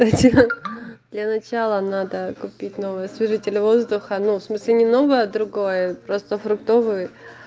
для начала надо купить новый освежитель воздуха ну в смысле немного другая просто фруктовый